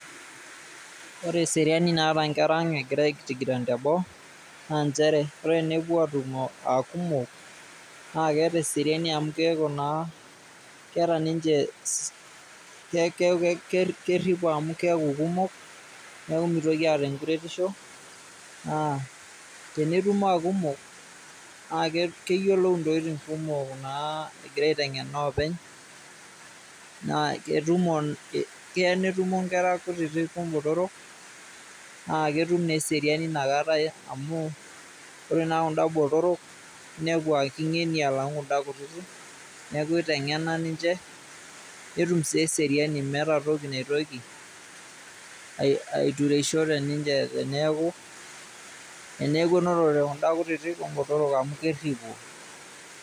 Ore eseriani naata nkera ang' egira aitigiran teboo, na njere ore enepuo atumo akumok, na keeta eseriani amu keeku naa, keeta ninche kerripo amu keeku kumok, neeku mitoki aata enkuretisho. Ah tenetumo akumok, na keyiolou intokiting kumok naa egira aiteng'ena oopeny, na ketumo, kea netumo nkera kutitik obotorok, na ketum naa eseriani nakata amu, ore naa kuda botorok, nepu ah king'eni alang'u kuda kutitik, neeku iteng'ena ninche, netum si eseriani. Meeta toki naitoki aitureisho teninche teneeku, teneeku enotote kuda kutitik obotorok amu kerripo.